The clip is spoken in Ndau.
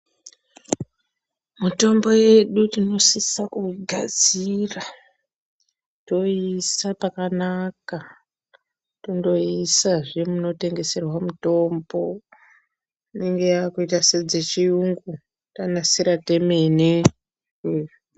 Mitombo yedu tinosisa kuigadzir,a toiisa pakanaka, tondoiisazve munotengeswa mitombo inenge yaakuita sedzechiyungu, tanasira temene.